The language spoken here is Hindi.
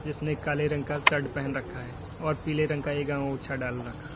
जिसने काले रंग का शर्ट पहन रखा है और पीले रंग का अँगौछा डाल रखा --